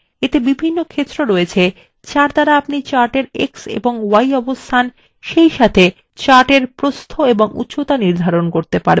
এতে বিভিন্ন ক্ষেত্র রয়েছে যার দ্বারা আপনি chart এর এক্স এবং y অবস্থান সেইসাথে chart এর প্রস্থ of উচ্চতা নির্ধারন করতে পারেন